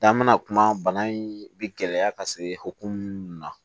Dan bɛna kuma bana in bɛ gɛlɛya ka se hokumu minnu na